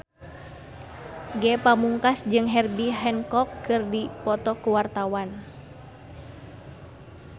Ge Pamungkas jeung Herbie Hancock keur dipoto ku wartawan